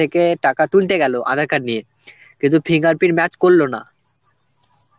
থেকে টাকা তুলতে গেল aadhar card নিয়ে কিন্তু fingerprint match করলো না.